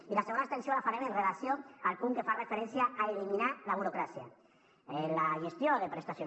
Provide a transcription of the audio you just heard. i la segona abstenció la farem en relació amb el punt que fa referència a eliminar la burocràcia la gestió de prestacions